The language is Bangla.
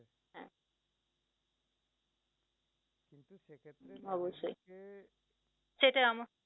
অবশ্যই সেটাই